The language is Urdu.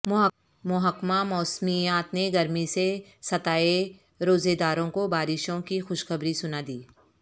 محکمہ موسمیات نے گرمی سے ستائے روزے داروں کو بارشوں کی خوشخبری سنادی